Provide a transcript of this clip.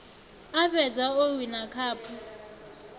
a fhedza o wina khaphu